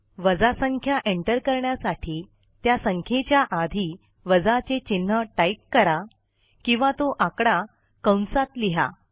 वजा संख्या एंटर करण्यासाठी त्या संख्येच्या आधी वजाचे चिन्ह टाईप करा किंवा तो आकडा कंसात लिहा